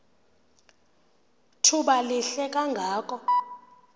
thuba lihle kangako